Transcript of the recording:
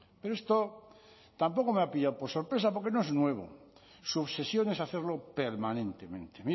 pero esto tampoco me ha pillado por sorpresa porque no es nuevo su obsesión es hacerlo permanentemente